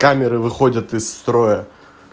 камеры выходят из строя